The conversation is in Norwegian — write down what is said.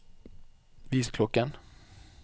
vis klokken